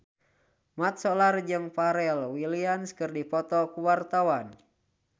Mat Solar jeung Pharrell Williams keur dipoto ku wartawan